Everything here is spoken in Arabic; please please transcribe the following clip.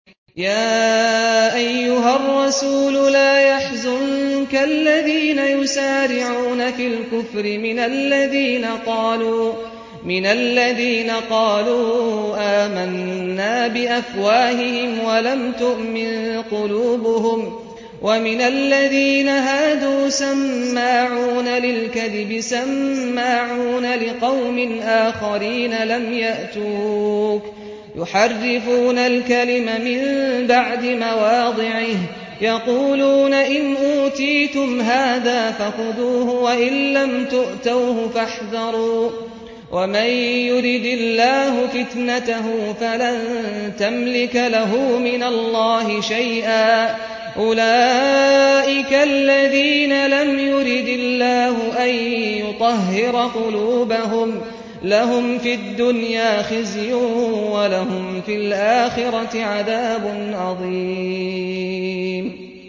۞ يَا أَيُّهَا الرَّسُولُ لَا يَحْزُنكَ الَّذِينَ يُسَارِعُونَ فِي الْكُفْرِ مِنَ الَّذِينَ قَالُوا آمَنَّا بِأَفْوَاهِهِمْ وَلَمْ تُؤْمِن قُلُوبُهُمْ ۛ وَمِنَ الَّذِينَ هَادُوا ۛ سَمَّاعُونَ لِلْكَذِبِ سَمَّاعُونَ لِقَوْمٍ آخَرِينَ لَمْ يَأْتُوكَ ۖ يُحَرِّفُونَ الْكَلِمَ مِن بَعْدِ مَوَاضِعِهِ ۖ يَقُولُونَ إِنْ أُوتِيتُمْ هَٰذَا فَخُذُوهُ وَإِن لَّمْ تُؤْتَوْهُ فَاحْذَرُوا ۚ وَمَن يُرِدِ اللَّهُ فِتْنَتَهُ فَلَن تَمْلِكَ لَهُ مِنَ اللَّهِ شَيْئًا ۚ أُولَٰئِكَ الَّذِينَ لَمْ يُرِدِ اللَّهُ أَن يُطَهِّرَ قُلُوبَهُمْ ۚ لَهُمْ فِي الدُّنْيَا خِزْيٌ ۖ وَلَهُمْ فِي الْآخِرَةِ عَذَابٌ عَظِيمٌ